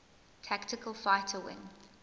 tactical fighter wing